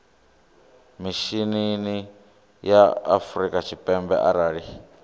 mishinini wa afrika tshipembe arali